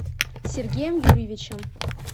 сергеем юрьевичем